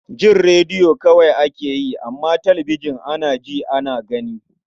Jin rediyo kawai ake yi, amma talabijin, ana ji, ana gani.